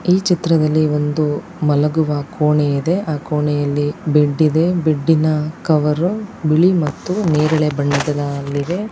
ಈ ಚಿತ್ರದಲ್ಲಿ ಒಂದು ಮಲಗುವ ಕೋಣೆ ಇದೆ. ಆ ಕೋಣೆಯಲ್ಲಿ ಬೆಡ್ ಇದೆ . ಬೆಡ್ಡಿನ ಕವರ್ ಬಿಳಿ ಮತ್ತು ನೇರಳೆ ಬಣ್ಣದ್ದಾಗಿದೆ.